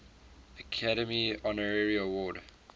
academy honorary award